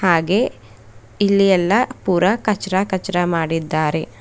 ಹಾಗೆ ಇಲ್ಲಿ ಎಲ್ಲಾ ಪೂರ ಕಚ್ರ ಕಚ್ರ ಮಾಡಿದ್ದಾರೆ.